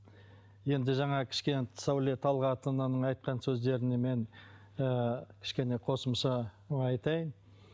енді жаңағы кішкене сәуле талғатовнаның айтқан сөздеріне мен ыыы кішкене қосымша айтайын